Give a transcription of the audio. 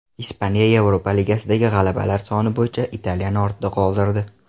Ispaniya Yevropa Ligasidagi g‘alabalar soni bo‘yicha Italiyani ortda qoldirdi.